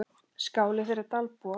Skáli þeirra Dalbúa.